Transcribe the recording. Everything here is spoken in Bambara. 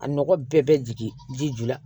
A nɔgɔ bɛɛ bɛ jigin ji ju la